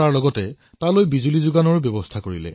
এইদৰে তেওঁলোকে মন্দিৰটোৰ পুৰণি বৈভৱ পুনৰ স্থাপিত কৰিলে